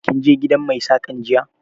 Kin je gidan mai Saƙan jiya?